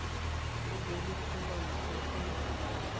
ho be le phumantsho e